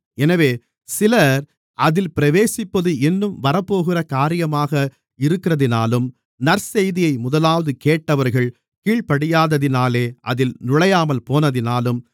எனவே சிலர் அதில் பிரவேசிப்பது இன்னும் வரப்போகிற காரியமாக இருக்கிறதினாலும் நற்செய்தியை முதலாவது கேட்டவர்கள் கீழ்ப்படியாததினாலே அதில் நுழையாமல்போனதினாலும்